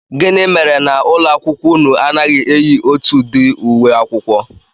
Gịnị mere na ụlọakwụkwọ unu anaghị eyi otu ụdị uwe akwụkwọ?